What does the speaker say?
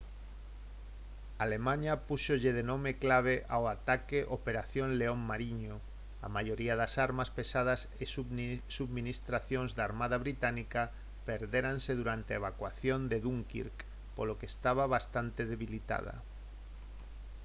alemaña púxolle de nome clave ao ataque «operación león mariño». a maioría das armas pesadas e subministracións da armada británica perdéranse durante a evacuación de dunkirk polo que estaba bastante debilitada